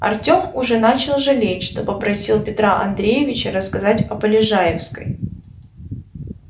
артём уже начал жалеть что попросил петра андреевича рассказать о полежаевской